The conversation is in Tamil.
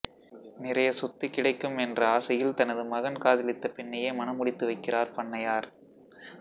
நிறைய சொத்து கிடைக்கும் என்ற ஆசையில் தனது மகன் காதலித்த பெண்ணையே மணமுடித்து வைக்கிறார் பண்ணையார்